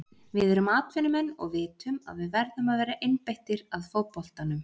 Við erum atvinnumenn og vitum að við verðum að vera einbeittir að fótboltanum.